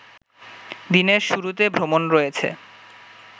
দিনের শুরুতে ভ্রমণ রয়েছে